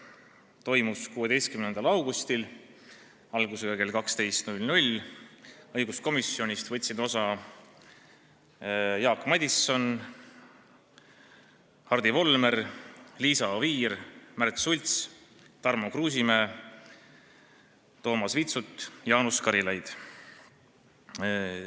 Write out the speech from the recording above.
Istung toimus 16. augustil algusega kell 12, õiguskomisjoni liikmetest võtsid osa Jaak Madison, Hardi Volmer, Liisa Oviir, Märt Sults, Tarmo Kruusimäe, Toomas Vitsut ja Jaanus Karilaid.